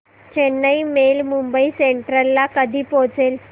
Chennai mail Mumbai central ला कधी पोहचेल